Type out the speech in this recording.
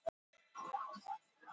Áhöfn Sólbaks sagt upp